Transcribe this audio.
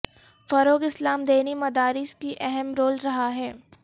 فروغ اسلام دینی مدارس کی اہم رول رہا ہے